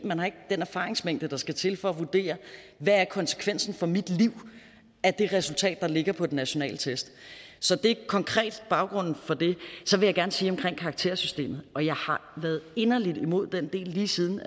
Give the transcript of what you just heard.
man har ikke den erfaringsmængde der skal til for at vurdere hvad er konsekvensen for mit liv af det resultat der ligger fra den nationale test så det er konkret baggrunden for det så vil jeg gerne sige om karaktersystemet og jeg har været inderlig imod den del lige siden